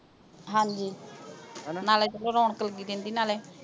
ਹਾਂਜੀ ਹਣਾ ਨਾਲੇ ਚਲੋ ਰੌਣਕ ਲੱਗੀ ਰਹਿੰਦੀ ਨਾਲੇ